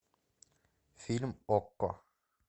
фильм окко